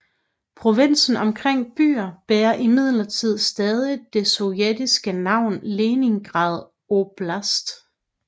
Provinsen omkring byen bærer imidlertid stadig det sovjetiske navn Leningrad oblast